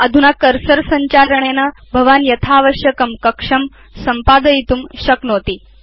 अधुना कर्सर संचारणेन भवान् आवश्यकतानुसारं कक्षं सम्पादयितुं शक्नोति